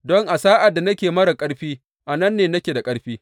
Don a sa’ad da nake marar ƙarfi a nan ne nake da ƙarfi.